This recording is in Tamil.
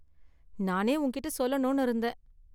நானே உன்கிட்ட சொல்லணும்னு இருந்தேன்.